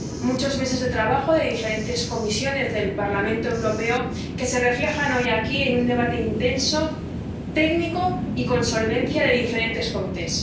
Muchos meses de trabajo de diferentes comisiones del Parlamento Europeo se reflejan hoy aquí en un debate intenso, técnico y con solvencia de diferentes comisiones.